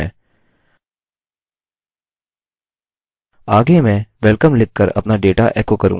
आगे मैं welcome लिखकर अपना डेटा एको करूँगा else मैं लिखूँगा die